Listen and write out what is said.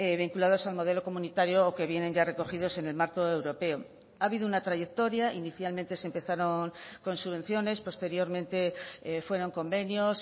vinculados al modelo comunitario o que vienen ya recogidos en el marco europeo ha habido una trayectoria inicialmente se empezaron con subvenciones posteriormente fueron convenios